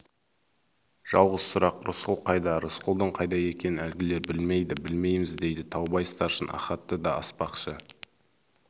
жалғыз сұрақ рысқұл қайда рысқұлдың қайда екенін әлгілер білмейді білмейміз дейді таубай старшын ахатты да аспақшы